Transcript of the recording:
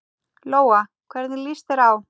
Lóa: Hvernig líst þér á?